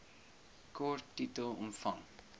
kort titel omvang